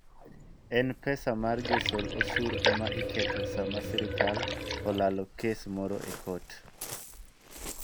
En pesa mar josol osuru ema iketho sama sirkal olalo kes moro e kot.